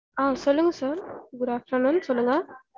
அஹ் சொல்லுங்க sir good afternoon சொல்லுங்க